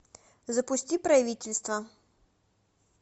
запусти правительство